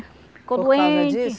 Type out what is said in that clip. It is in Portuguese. Ficou doente. Por causa disso?